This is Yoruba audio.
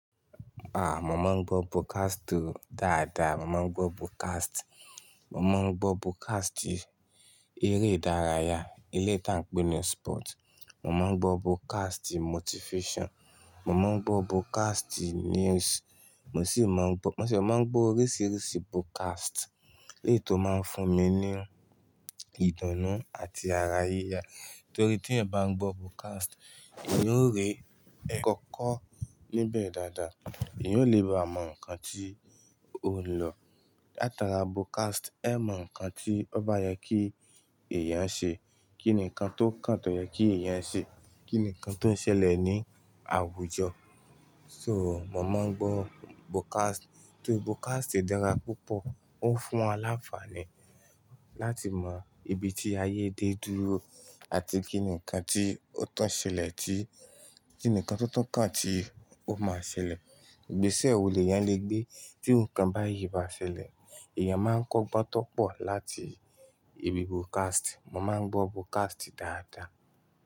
À, mo máa ń gbọ́ podcast oo dáadáa. Mo máa ń gbọ́ podcast, mo máa ń gbọ́ podcast eré ìdárayá ilé tá ń pè ní Sport. Mo máa ń gbọ́ podcast motivation, mo máa ń gbọ́ podcast news. Mo sì máa ń gbọ́, mo sì máa ń gbọ́ oríṣiríṣi podcast, lèyí tó máa ń fún mi ní ìdùnnú àti ara yíyá. Nítorí tí èèyàn ba n gbọ́ podcast, eeyan ó rí ẹ̀ kọ́kọ́ níbẹ̀ dáadáa, ìyá ó le mọ nǹkan tí ó ń lọ. Látara podcast, ẹ mọ nǹkan tí ọ́ bá yẹ kí èèyàn ṣe, kí nǹkan tó kàn tó yẹ kí èèyàn ṣe, kí nǹkan tó ṣẹlẹ̀ ní àwùjọ. So, mo máa ń gbọ́ podcast torí podcast dára púpọ̀. Ó fún wa lafààní láti mọ ibi tí ayé dé dúró àti kíni nǹkan tí ó tun ṣẹlẹ̀ tí, kí ni nǹkan tó tun kàn tí ó máa ṣẹlẹ̀. Ìgbésẹ̀ wo lè yán le gbé tí iru nkan bá yìí bá ṣẹlẹ̀. Èèyàn máa ń kọ́ gbá tó pọ̀ láti ibi podcast. Mo máa ń gbọ́ broadcast dáadáa.